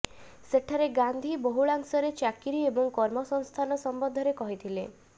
ସେଠାରେ ଗାନ୍ଧୀ ବହୁଳାଂଶରେ ଚାକିରି ଏବଂ କର୍ମସଂସ୍ଥାନ ସମ୍ବନ୍ଧରେ କହିଥିଲେ